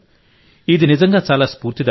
ఇది నిజంగా చాలా స్ఫూర్తిదాయకం